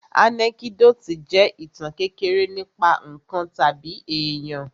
Ànẹ́kídòtì jẹ́ ìtàn kékeré nípa ǹkan tàbí èyàn.